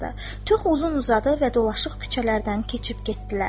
Çox uzun-uzaq və dolaşıq küçələrdən keçib getdilər.